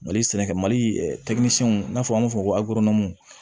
Mali sɛnɛkɛ mali n'an fɔ an b'a fɔ ko